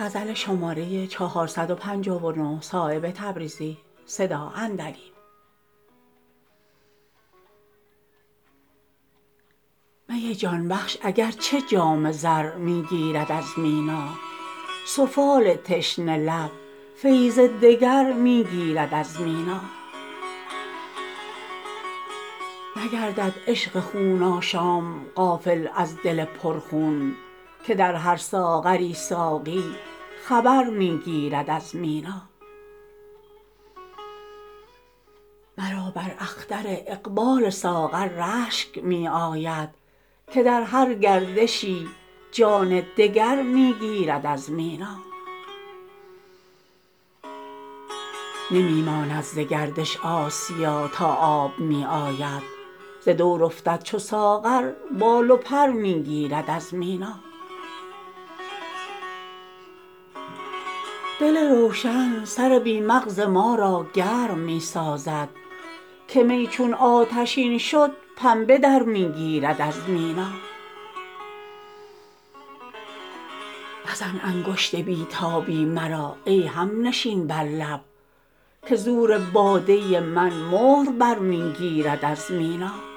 می جان بخش اگر چه جام زر می گیرد از مینا سفال تشنه لب فیض دگر می گیرد از مینا نگردد عشق خون آشام غافل از دل پر خون که در هر ساغری ساقی خبر می گیرد از مینا مرا بر اختر اقبال ساغر رشک می آید که در هر گردشی جان دگر می گیرد از مینا نمی ماند ز گردش آسیا تا آب می آید ز دور افتد چو ساغر بال و پر می گیرد از مینا دل روشن سر بی مغز ما را گرم می سازد که می چون آتشین شد پنبه در می گیرد از مینا مزن انگشت بی تابی مرا ای همنشین بر لب که زور باده من مهر بر می گیرد از مینا